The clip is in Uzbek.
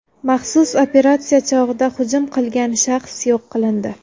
Maxsus operatsiya chog‘ida hujum qilgan shaxs yo‘q qilindi.